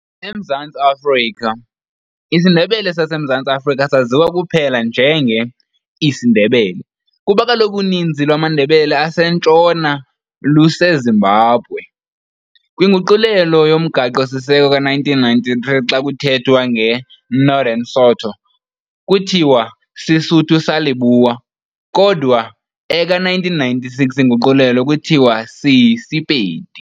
EMzantsi Afrika, isiNdebele sazeMazantsi saziwa kuphela njenge"siNdebele", kuba kaloku uninzi lwamaNdebele aseNtshona luseZimbabwe. Kwinguqulelo yomGaqo siseko ka-1993 xa kuthethwa nge"Northern Sotho" kuthiwa "Sesotho sa Leboa", kodwa eka-1996 inguqulelo kuthiwa si"siSepedi".